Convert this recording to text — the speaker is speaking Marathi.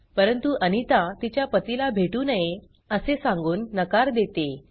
परंतु अनिता तिच्या पतिला भेटू नये असे सांगून नकार देते